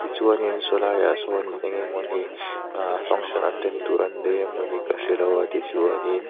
tichuan saw lai ah sawn engemawni ah function ah attend tur an nei emawni ka hrelo a tichuanin--